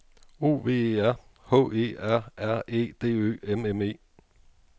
O V E R H E R R E D Ø M M E